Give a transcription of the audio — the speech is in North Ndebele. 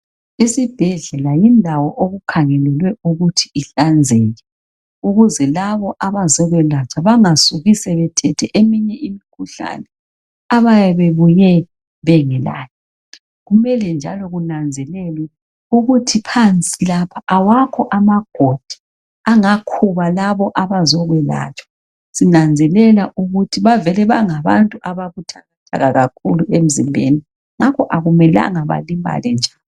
Isibhedlela yindawo okukhangelelwe ukuthi ihlanzeke ukuze labo abazokwelatshwa bangasuki sebethethe eminye imikhuhlane abayabe bebuye bengelayo. Kumele njalo kunanzelelwe ukuthi phansi lapha awakho amagodi angakhuba labo abazokwelatshwa sinanzelela ukuthi bangabantu ababuthakathaka kakhulu emzimbeni ngakho akumelanga balimale nje.